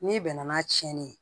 N'i bɛnna n'a tiɲɛnen ye